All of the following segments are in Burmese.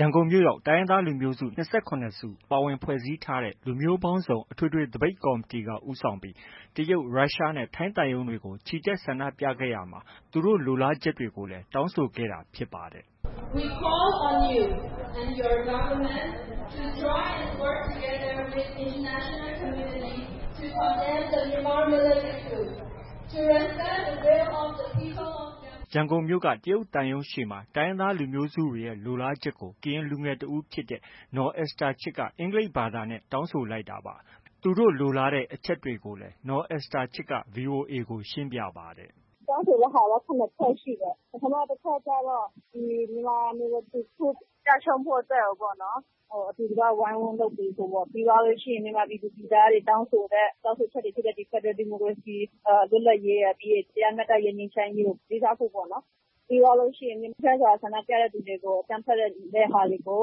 ရန်ကုန်မြို့ရောက် တိုင်းရင်းသားလူမျိုးစု ၂၇ စုပါဝင်ဖွဲ့စည်းထားတဲ့ လူမျိုးပေါင်းစုံအထွေထွေသပိတ်ကော်မတီက ဦးဆောင်ပြီး တရုတ်၊ ရုရှားနဲ့ ထိုင်းသံရုံးတွေကို ချီတက်ဆန္ဒပြခဲ့ကြပြီး သူတို့ လိုလားချက်တွေကို တောင်းဆိုခဲ့တာဖြစ်ပါတယ်။ “We call on you, your government to join altogether with international community to condemn the Myanmar military coup. To respect the wills of the people of Myanmar and our request for federal democracy, freedom, justice and peace…. ” ရန်ကုန်မြို့က တရုတ်သံရုံးရှေ့မှာ တိုင်းရင်းသားလူမျိုးစုတွေရဲ့ လိုလားချက်တွေကို ကရင်လူငယ်တစ်ဦးဖြစ်တဲ့ နော်အက်စတာချစ်က အင်္ဂလိပ်ဘာသာနဲ့ တောင်းဆိုလိုက်တာပါ။ သူတို့လိုလားတဲ့ အချက်တွေကိုလည်း နော်အက်စတာချစ်က ဗွီအိုအေကို ရှင်းပြပါတယ်။ “တောင်းဆိုတဲ့ဟာ ၇ချက်ရှိတယ်။ ပထမအချက်ကတော့ Myanmar military coup ကျရှုံးဖို့ပေါ့နော်။ အတူတကွ ဝိုင်းဝန်းလုပ်ပေးဖို့ပေါ့။ ပြီးသွားရင် မြန်မာပြည်သားတွေ တောင်းဆိုတဲ့ တောင်းဆိုချက်တွေဖြစ်တဲ့ ဖက်ဒရယ်ဒီမိုကရေစီ၊ လွတ်လပ်ရေးရယ်၊ တရားမျှတရေး၊ ငြိမ်းချမ်းရေးကို လေးစားဖို့ပေါ့နော်။ ပြီးသွားရင် ငြိမ်းချမ်းစွာဆန္ဒပြတဲ့ဟာတွေကို အကြမ်းဖက်တဲ့ဟာတွေကို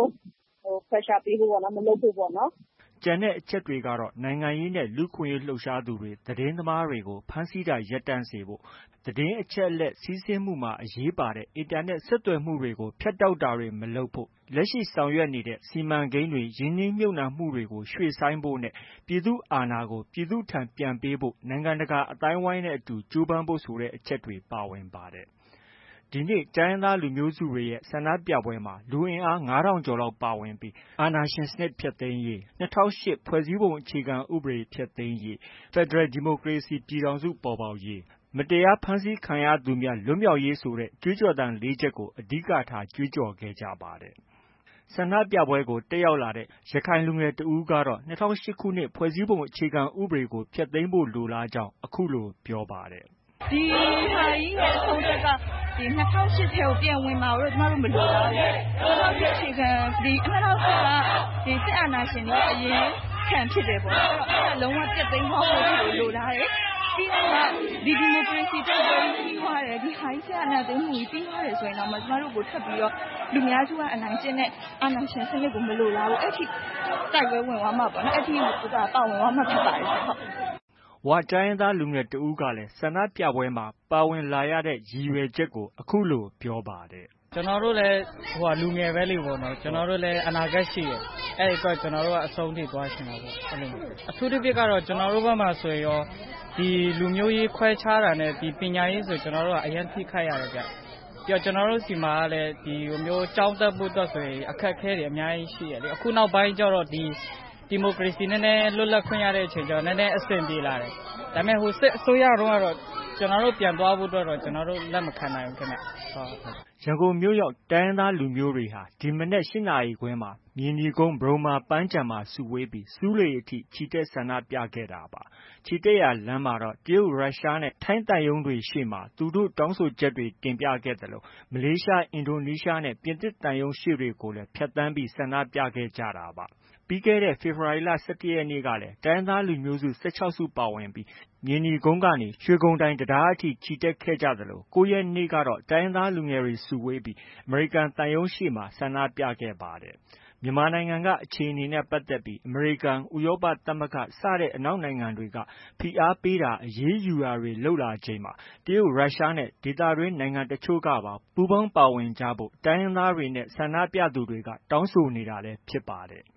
Pressure ပေးဖို့ပေါ့။ မလုပ်ဖို့ပေါ့။” ကျန်အချက်တွေကတော့ နိုင်ငံရေးနဲ့ လူ့အခွင့်အရေးလှုပ်ရှားသူတွေ၊ သတင်းသမားတွေကို ဖမ်းဆီးတာတွေ ရပ်တန့်စေဖို့၊ သတင်းအချက်အလက် စီးဆင်းမှုမှာ အရေးပါတဲ့ Internet ဆက်သွယ်မှုတွေကို ဖြတ်တောက်တာတွေ မလုပ်ဖို့၊ လက်ရှိဆောင်ရွက်နေတဲ့ စီမံကိန်းတွေ၊ ရင်းနှီးမြှုပ်နှံမှုတွေကို ရွှေ့ဆိုင်းဖို့ နဲ့ ပြည်သူ့အာဏာကို ပြည်သူလူထုထံပြန်ပေးဖို့ နိုင်ငံတကာ အသိုင်းအဝန်းနဲ့အတူ ကြိုးပမ်းဖို့ဆိုတဲ့ အချက်တွေ ပါဝင်ပါတယ်။ ဒီနေ့ တိုင်းရင်းသားလူမျိုးစုတွေရဲ့ ဆန္ဒပြပွဲမှာ လူအင်အား ၅,၀၀၀ ကျော်လောက်ပါဝင်တက်ရောက်ပြီး အာဏာရှင် စနစ်ကျဆုံးရေး၊ ၂၀၀၈ ဖွဲ့စည်းပုံအခြေခံဥပဒေဖျက်သိမ်းရေး၊ ဖက်ဒရယ်ဒီမိုကရေစီစနစ် ပေါ်ပေါက်ရေး၊ မတရားဖမ်းဆီးခံရသူများလွတ်မြောက်ရေးဆိုတဲ့ ကြွေးကြော်သံ ၄ ချက်ကို အဓိကထား ကြွေးကြော်ခဲ့ကြပါတယ်။ ဆန္ဒပြပွဲမှာ ပါဝင်ခဲ့တဲ့ ရခိုင်လူငယ်တစ်ဦးကတော့ ၂၀၀၈ ခုနှစ် ဖွဲ့စည်းပုံအခြေခံဥပဒေကို ဖျက်သိမ်းဖို့ လိုလားကြောင်း အခုလို ပြောပါတယ်။ “ဒီဟာကြီးရဲ့ အဆုံးသတ်က ၂၀၀ ၈ထဲကို ပြန်ဝင်မှာကိုတော့ ကျမတို့ မလိုလားဘူး။ ၂၀၀၈ က စစ်အာဏာရှင်တွေရဲ့ အရင်းခံဖြစ်တယ်ပေါ့နော်။ အဲဒါ လုံး၀ ဖျက်သိမ်းသွားဖို့ရာလိုလားတယ်။ ပြီးတော့မှ ဒီ ဒီမိုကရေစီတိုက်ပွဲကြီးပြီးသွားတယ်။ စစ်အာဏာသိမ်းမှုကြီး ပြီးသွားတယ်ဆိုရင်တောင်မှ ကျမတို့ကို လူများစုက အနိုင်ကျင့်တဲ့ အာဏာရှင်စနစ်ကို မလိုလားဘူး။ အဲဒီအထိ တိုက်ပွဲဝင်သွားမှာပေါ့နော်။ အဲဒီအထိ ပါဝင်သွားမှာဖြစ်ပါတယ်ရှင့်။” ဝ တိုင်းရင်းသား လူငယ်တစ်ယောက်ကလည်း ဆန္ဒပြပွဲမှာ ပါဝင်လာရတဲ့ ရည်ရွယ်ချက်ကို အခုလို ပြောပါတယ်။ “ကျနော်တို့လည်း လူငယ်ပဲလေနော်။ ကျနော်တို့လည်း အနာဂတ်ရှိတယ်။ အဲဒီအတွက် ကျနော်တို့က အဆုံးထိ သွားချင်တာပေါ။ အထူးသဖြင့်ကတော့ ကျနော်တို့ဘက်မှာ ဆိုရင် လူမျိုးရေးခွဲခြားတာနဲ့ ပညာရေးဆို အရမ်းထိခိုက်ရတယ်။ ပြီးရင် ကျနော်တို့ ဆီမှာ ကျောင်းတက်ဖို့ဆိုရင် အခက်အခဲတွေ အများကြီးရှိတယ်။ အခုနောက်ပိုင်းက ဒီ ဒီမိုကရေစီအခွင့်အရေး နည်းနည်းလွတ်လပ်ခွင့် ရတဲ့အခါကျတော့ နည်းနည်းအဆင်ပြေလာတယ်။ ဒါပေမဲ့ စစ်အစိုးရစနစ်ကို ကျနော်တို့ ပြန်သွားဖို့ကတော့ ကျနော်တို့ လက်မခံနိုင်ဘူးခင်ဗျ။” ရန်ကုန်မြို့ရောက် တိုင်းရင်းသားလူမျိုးတွေဟာ ဒီမနက် ၈ နာရီခွဲမှာ မြေနီကုန်း ပဒုမ္မာပန်းခြံမှာ စုဝေးပြီး ဆူးလေအထိ ချီတက် ဆန္ဒပြခဲ့တာပါ။ ချီတက်ရာလမ်းမှာတော့ တရုတ်၊ ရုရှားနဲ့ ထိုင်းသံရုံးကို ရှေ့တွေမှာ သူတို့ တောင်းဆိုချက်တွေကို တင်ပြခဲ့သလို မလေးရှား၊ အင်ဒိုနီးရှားနဲ့ ပြင်သစ်သံရုံးရှေ့တွေကိုလည်း ဖြတ်သန်းပြီး ဆန္ဒပြခဲ့ကြတာပါ။ ပြီးခဲ့တဲ့ ဖေဖော်ဝါရီလ ၁၁ ရက်နေ့ကလည်း တိုင်းရင်းသား လူမျိုးစု ၁၆ စုပါဝင်ပြီး မြေနီကုန်းကနေ ရွှေဂုံတိုင်တံတားအထိ ချီတက် ခဲ့ကြသလို ၉ ရက်နေ့ကတော့ တိုင်းရင်းသားလူငယ်တွေ စုဝေးပြီး အမေရိကန်သံရုံးရှေ့မှာ ဆန္ဒပြခဲ့ကြပါတယ်။ မြန်မာနိုင်ငံက အခြေအနေနဲ့ ပတ်သက်လို့ အမေရိကန်၊ ဥရောပသမဂ္ဂ စတဲ့ အနောက်နိုင်ငံတွေက ဖိအားပေးတာ၊ အရေးယူတာတွေ လုပ်လာနေချိန်မှာ တရုတ်၊ ရုရှားနဲ့ ဒေသတွင်း နိုင်ငံတချို့ကပါ ပူးပေါင်းပါဝင်ကြဖို့ တိုင်းရင်းသားတွေနဲ့ ဆန္ဒပြသူတွေက တောင်းဆိုနေတာလည်း ဖြစ်ပါတယ်